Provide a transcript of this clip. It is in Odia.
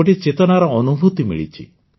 ଗୋଟିଏ ଚେତନାର ଅନୁଭୂତି ମିଳିଛି